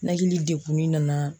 Nɛkiili degun ni nana.